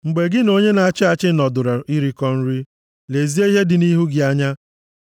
Mgbe gị na onye na-achị achị nọdụrụ irikọ nri, lezie ihe + 23:1 Maọbụ, onye nọ nʼihu gị dị nʼihu gị anya,